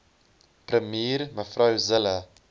premier mev zille